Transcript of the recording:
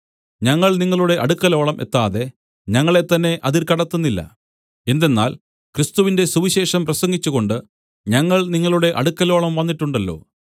ഞങ്ങൾ നിങ്ങളുടെ അടുക്കലോളം എത്താതെ ഞങ്ങളെത്തന്നെ അതിർ കടത്തുന്നില്ല എന്തെന്നാൽ ക്രിസ്തുവിന്റെ സുവിശേഷം പ്രസംഗിച്ചുകൊണ്ട് ഞങ്ങൾ നിങ്ങളുടെ അടുക്കലോളം വന്നിട്ടുണ്ടല്ലോ